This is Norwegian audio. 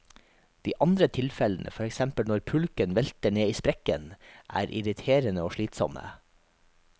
De andre tilfellene, for eksempel når pulken velter ned i sprekken, er irriterende og slitsomme.